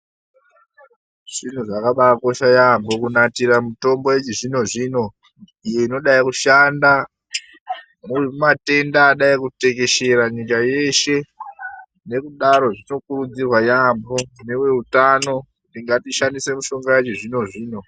Zviro zvakabaakosha yaamho kunatira mitombo yechizvino-zvino, iyo inodai kushanda, kumatenda adai kutekeshera nyika yeshe. Nekudaro zvinokurudzirwa yaampho neveutano, kuti ngatishandise mishonga yechizvino-zvino.